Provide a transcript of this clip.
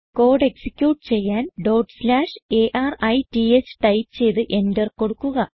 code execute ചെയ്യാൻ അരിത്ത് type ചെയ്ത് എന്റർ കൊടുക്കുക